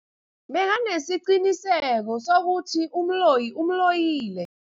Bekanesiqiniseko sokuthi umloyi umloyile.